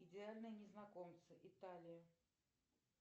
идеальные незнакомцы италия